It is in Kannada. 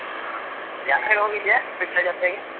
ಹ ಜಾತ್ರೆಗೆ ಹೋಗಿದ್ಯಾ ಜಾತ್ರೆಗೆ.